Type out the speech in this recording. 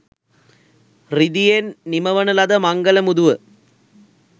රිදියෙන් නිමවන ලද මංගල මුදුව